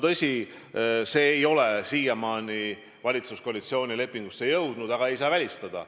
Tõsi, see ei ole siiamaani valitsuskoalitsiooni lepingusse jõudnud, aga seda ei saa välistada.